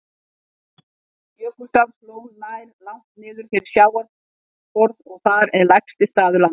Jökulsárlón nær langt niður fyrir sjávarborð og þar er lægsti staður landsins.